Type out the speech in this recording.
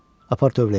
Apar tövləyə.